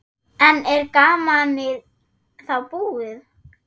En er gamanið þá búið?